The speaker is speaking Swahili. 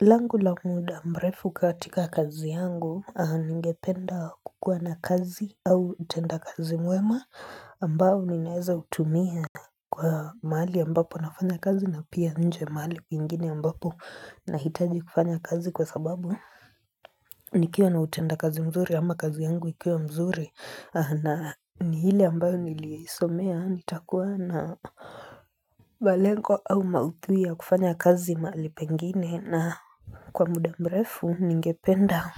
Langu la muda mrefu katika kazi yangu, ningependa kukuwa na kazi au utenda kazi mwema ambao ninaeza utumia kwa mahali ambapo nafanya kazi na pia nje mahali kwingine ambapo na hitaji kufanya kazi kwa sababu nikiwa na utendakazi mzuri ama kazi yangu ikia mzuri na ile ambayo nilisomea nitakuwa na malengo au mauthui ya kufanya kazi mahali pengine na kwa muda mrefu ningependa